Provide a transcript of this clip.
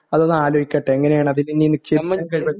അതൊന്നാലോചിക്കട്ടെ എങ്ങനെയാണ് അതിലിനി